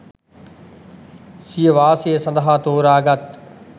සිය වාසය සඳහා තෝරාගත්